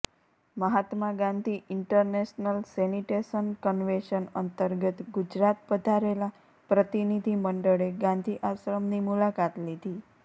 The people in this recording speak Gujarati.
મહાત્મા ગાંધી ઇન્ટરનેશનલ સેનીટેશન કન્વેન્શન અંતર્ગત ગુજરાત પધારેલા પ્રતિનિધિમંડળે ગાંધી આશ્રમની મુલાકાત લીધી